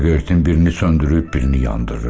Siqaretin birini söndürüb, birini yandırır.